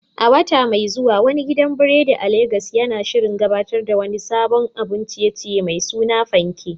A wata mai zuwa, wani gidan biredi a Legas yana shirin gabatar da wani sabon abun ciye-ciye mai suna "Fanke,"